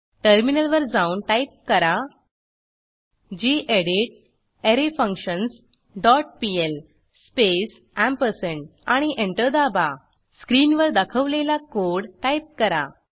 टर्मिनलवर जाऊन टाईप करा gedit array functions dot PL space ampersand आणि एंटर दाबा स्क्रीनवर दाखवलेला कोड टाईप करा